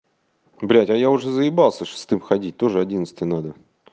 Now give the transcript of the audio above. блядь а я уже заебался шестым ходить тоже одиннадцатый надо